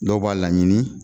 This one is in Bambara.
Dɔw b'a laɲini